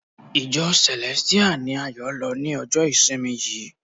Ìjọ Celestial ni Ayo lọ ni ọjọ ìsinmi yìí.